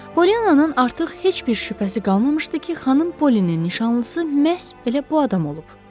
Pollyananın artıq heç bir şübhəsi qalmamışdı ki, xanım Pollynin nişanlısı məhz elə bu adam olub.